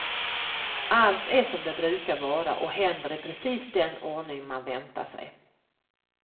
Allt är som det brukar vara och händer i precis den ordning man väntar sig.